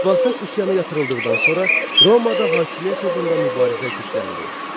Spartak üsyanı yatırıldıqdan sonra Romada hakimiyyət uğrunda mübarizə gücləndi.